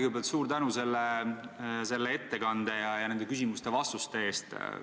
Kõigepealt suur tänu selle ettekande ja nende küsimuste vastuste eest!